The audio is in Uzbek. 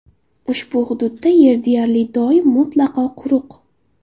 Ushbu hududda yer deyarli doim mutlaqo quruq.